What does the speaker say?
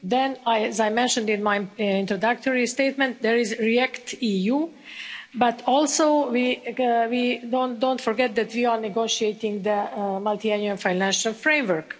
Then, as I mentioned in my introductory statement, there is REACT EU, but also don't forget that we are negotiating the Multiannual Financial Framework.